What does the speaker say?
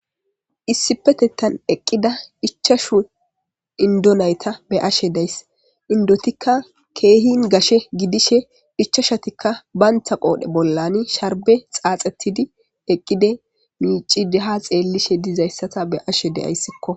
Issipetettan eqqida hichashu indonayta be ashe dayss indotikka keehin gashe gidishe hichashatikka bayntha qoodhe bollani sharbe xaaxetidi eqqide miici deha xeellishe dizayssata be ashe deyayssikko.